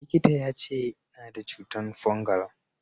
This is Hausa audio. Likita ya ce, Ina da cutan fungal.